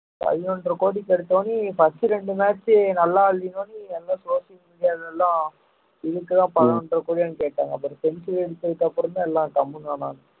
பதினொன்றை கோடிக்கு எடுத்த உடனே first இரண்டு match நல்லா இல்லைன்ன உடனே எல்லாம் social media ல எல்லாம் இதுக்குதான் பணம் ஒன்றரை கோடியான்னு கேட்டாங்க அப்புறம் century அடிச்சிக்கப்பறம் தான் எல்லாம் கம்முனு